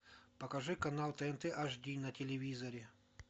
покажи канал тнт аш ди на телевизоре